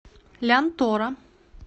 лянтора